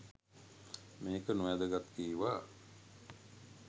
මේක නොවැදගත් කිව්වා